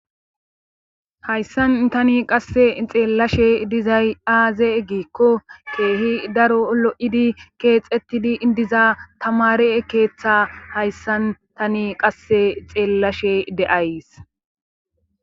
hayssan tani qasse xeellashe dizay aaze eggikko keehi daro lo7idi keexettidi idiza tamare keeththe hayssan tani qasse xeellashe de7ays